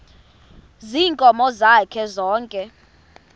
ziinkomo zakhe zonke